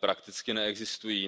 prakticky neexistují.